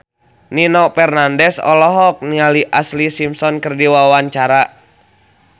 Nino Fernandez olohok ningali Ashlee Simpson keur diwawancara